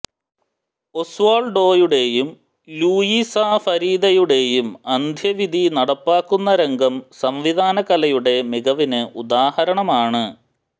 ഓസ്വാള്ഡോയുടെയും Luisa ഫരീദയുടെയും അന്ത്യവിധി നടപ്പാക്കുന്ന രംഗം സംവിധാനകലയുടെ മികവിന് ഉദാഹരണമാണ്